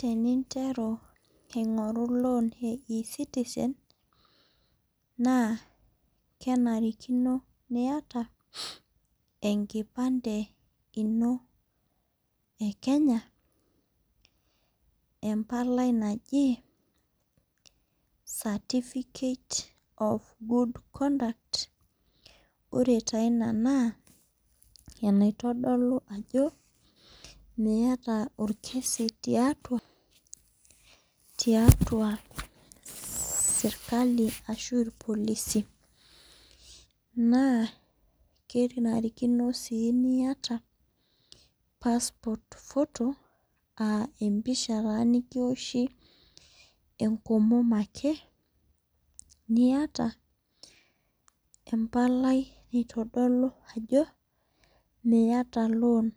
Teninteru aing'oru loan e eCitizen, naa kenarikino niata enkipande ino e Kenya, empalai naji certificate of good conduct, ore taa ina naa enaitodolu ajo miata olkesi tiatua serkali ashu ilpolisi. Naa kenarikino sii niata passport photo, aa emoish ataa nekioshi enkomom ake , we empalai naitodolu ajo miata loan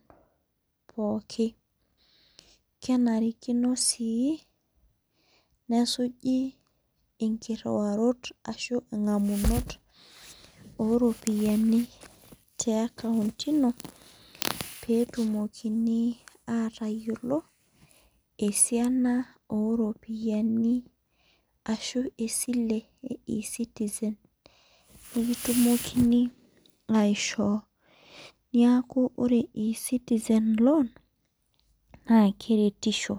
pooki, kenarikino sii nesuji inkiruarot, ashu ing'amunorot o iropiani te akaunt ino, pee etumokini atayiolou, esiana o iropiani ashu esile e eCitizen, nikitumokini aisho neaku ore eCitizen loan naake eretisho.